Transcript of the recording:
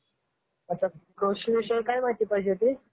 अच्छा. कृषीविषयी काय माहिती पाहिजे होती?